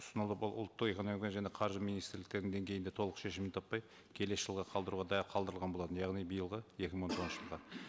ұсынылып ұлттық экономиканы және қаржы министрліктердің деңгейінде толық шешімін таппай келесі жылға қалдыруға да қалдырылған болатын яғни биылғы екі мың он тоғызыншы жылға